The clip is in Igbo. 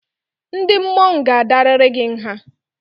Ndị mmọnwụ ga-adarịrị gị nha!